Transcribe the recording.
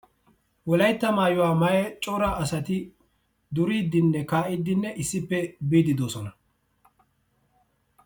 Wolaytta asaa maayuwa maayida cora asati duriidinne kaa'iidi issippe biidi de'oosona.